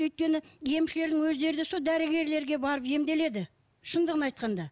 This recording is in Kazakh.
өйткені емшілердің өздері де сол дәрігерлерге барып емделеді шындығын айтқанда